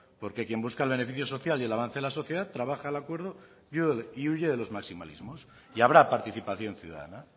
porque quien busca el beneficio social y el avance de la sociedad trabaja el acuerdo y huye de los maximalismos y habrá participación ciudadana